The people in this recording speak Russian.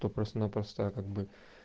то просто-напросто как бы